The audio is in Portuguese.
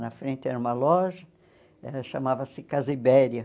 Na frente era uma loja, chamava-se Casa Ibéria.